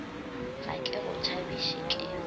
ga ke go tšhabiše ke